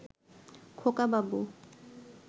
খোকাবাবু